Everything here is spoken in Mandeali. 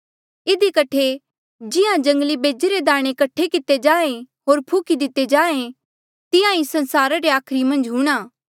इधी कठे जिहां जंगली बेजे रे दाणे कठे किते जाहें होर फुकी दिते जाहें तिहां ई संसारा रे आखरी मन्झ हूंणां